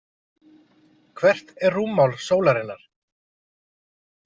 Hvert er rúmmál sólarinnar?